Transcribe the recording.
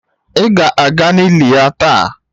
Ị ga-aga n'ili ya taa?